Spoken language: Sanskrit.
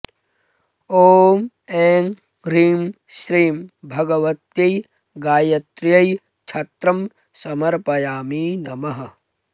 ॐ ऐं ह्रीं श्रीं भगवत्यै गायत्र्यै छत्रं समर्पयामि नमः